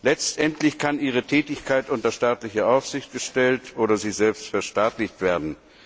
Letztendlich kann ihre Tätigkeit unter staatliche Aufsicht gestellt oder sie selbst verstaatlicht werden.